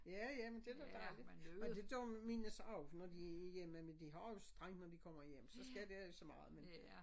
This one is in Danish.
Ja ja men det da dejligt men det gør mine så også når de er hjemme men de har også straj når de kommer hjem så sker der ikke så meget men